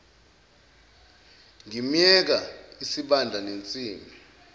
ngimyeka isibanda nensimbi